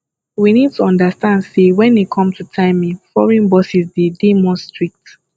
we need to understand sey when e come to timing foreign bosses de dey more strict